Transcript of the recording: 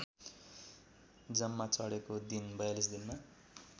जम्मा चढेको दिन ४२ दिनमा